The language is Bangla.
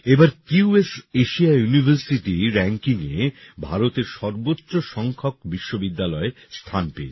এবার কিউএস এশিয়া ইউনিভার্সিটি র্যাঙ্কিংয়ে ভারতের সর্বোচ্চ সংখ্যক বিশ্ববিদ্যালয় স্থান পেয়েছে